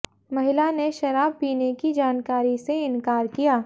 महिला ने शराब पीने की जानकारी से इनकार किया